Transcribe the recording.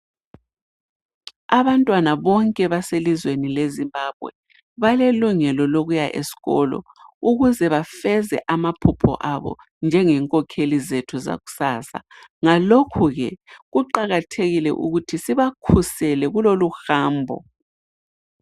Abantwana bonke baselizweni leZimbabwe balelungelo lokuya esikolo ukuze bafeze amaphupho abo njengenkokheli zethu zakusasa ngalokhu ke kuqakathekile ukuthi sibakhusele kuloluhambo.